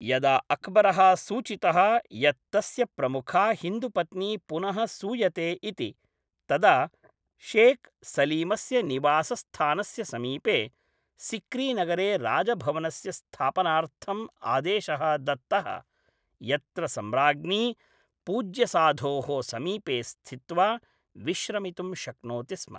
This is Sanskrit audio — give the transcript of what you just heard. यदा अक्बरः सूचितः यत् तस्य प्रमुखा हिन्दुपत्नी पुनः सूयते इति, तदा शेख् सलीमस्य निवासस्थानस्य समीपे, सिक्रीनगरे राजभवनस्य स्थापनार्थम् आदेशः दत्तः, यत्र सम्राज्ञी पूज्यसाधोः समीपे स्थित्वा विश्रमितुं शक्नोति स्म।